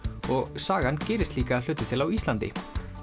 og sagan gerist líka að hluta til á Íslandi